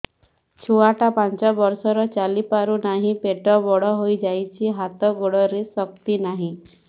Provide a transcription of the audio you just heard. ଛୁଆଟା ପାଞ୍ଚ ବର୍ଷର ଚାଲି ପାରୁ ନାହି ପେଟ ବଡ଼ ହୋଇ ଯାଇଛି ହାତ ଗୋଡ଼ରେ ଶକ୍ତି ନାହିଁ